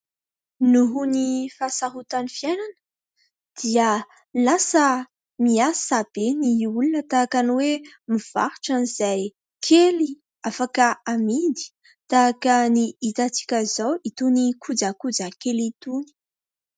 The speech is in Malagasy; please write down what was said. Noho ny fahasarotan'ny fiainana dia lasa miasa be ny olona tahaka ny hoe mivarotra an'izay kely afaka amidy. Tahaka ny itantsika izao, itony kojakoja kely itony.